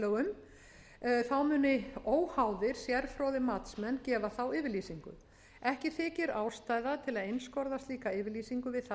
þá munu óháðir sérfróðir matsmenn gefa þá yfirlýsingu ekki þykir ástæða til að einskorða slíka yfirlýsingu við það að